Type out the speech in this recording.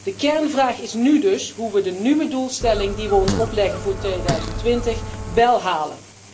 De kernvraag is nu dus hoe wij de nieuwe doelstelling die wij ons opleggen voor 2020, wél halen.